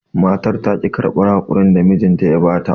Matar taƙi karɓar haƙurin da mijin ya bata.